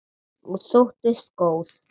Og þóttist góð.